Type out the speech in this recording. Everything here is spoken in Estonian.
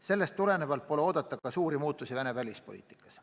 Sellest tulenevalt pole oodata suuri muutusi Venemaa välispoliitikas.